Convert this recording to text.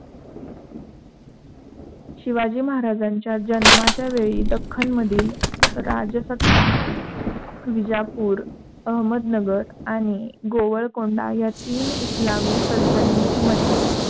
शिवाजी महाराजांच्या जन्माच्या वेळी दाखन्नमधील राजसत्ता विजापूर, अहमदनगरआणि गोवळकोंढा या तीन इस्लामी सल्तनती मध्ये